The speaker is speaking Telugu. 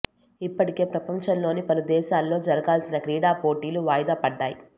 ఇప్పటికే ప్రపంచంలోని పలు దేశాల్లో జరగాల్సిన క్రీడా పోటీలు వాయిదా పడ్డాయి